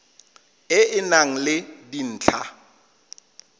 e e nang le dintlha